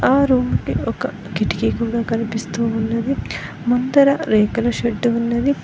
ఆ రూమ్ కి ఒక కిటికీ కూడా కనిపిస్తూ ఉన్నది ముందర రేకుల షెడ్డు ఉన్నది.